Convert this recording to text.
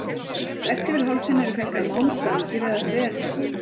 Þvert yfir hálsinn eru festar málmstangir eða þverbönd.